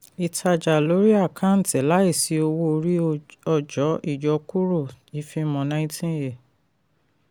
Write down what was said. ìtajà lórí àkántì láìsí owó orí ọjọ́ ìyọkúrò ìfimọ́ nineteen a